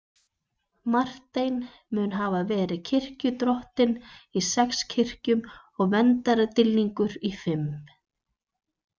Marteinn mun hafa verið kirkjudrottinn í sex kirkjum og verndardýrlingur í fimm.